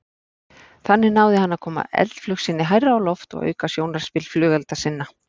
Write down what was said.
Þannig náði hann að koma eldflaug sinni hærra á loft og auka sjónarspil flugelda sinna.